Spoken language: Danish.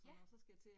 Ja!